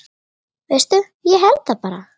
Veistu, ég held það bara.